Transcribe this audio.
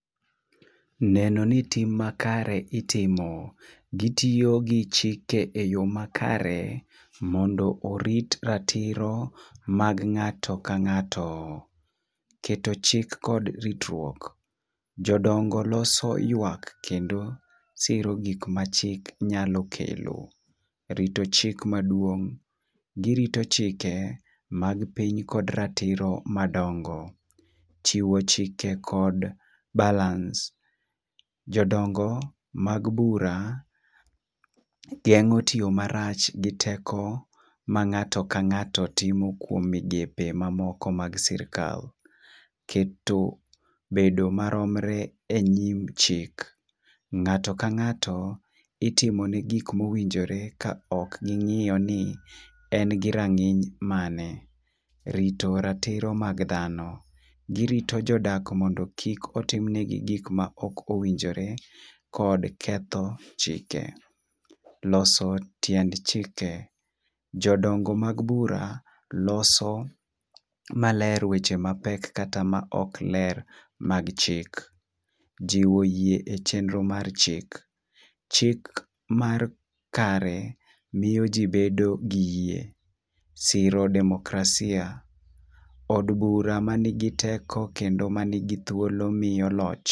Neno ni tim amakre itimo gitiyo gi chike e yoo makare, mondo orit ratiro mag ng'ato ka ng'ato. Keto chik kod ritruok: jodongo loso yuak kendo siro gik machik nyalo kelo. Rito chik maduong' :girito chike mag piny kod ratiro madongo. Chiwo chike kod balance: jodongo mag bura geng'o tiyo marach gi teko ma ng'ato ka ng'ato timo e kuom migepe mamoko mag srikal. Keto bedo maromre e nyim chik: ng'ato ka ng'ato itimo ne gik mowinkore ka ok ging'iyo ni en gi rang'iny mane rito ratiro mag dhano girito jodak mondo kik timne gi gik mowinjore kod ketho chike. Loso tiend chike: jodongo mag bura loso maler weche mapek kata ma ok ler mag chik. Jiwo yie e chenro mar chik: chik mar kare miyo jii bedo gi yie siro demokrasia od bura manigi teko kendo manigi thuolo miyo loch